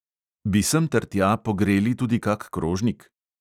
Bi semtertja pogreli tudi kak krožnik?